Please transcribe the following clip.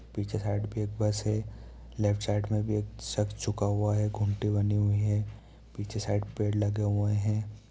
पीछे साइड भी एक बस है लेफ्ट साइड में भी एक ज़ुका हुआ है बनी हुए है पीछे साइड पेड़ लगे हुए है।